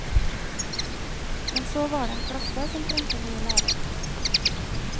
Men så var det en klasse som trengte ny lærer.